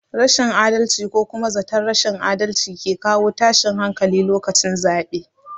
Rashin adalci ko kuma zaton rashin adalci ke kawo tashin hankali lokacin zaɓe